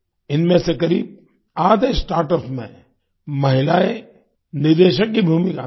इनमें से करीब आधे स्टार्टअप में महिलायें निदेशक की भूमिका में हैं